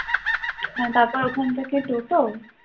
হ্যাঁ তারপর ঐখান থেকে টোটো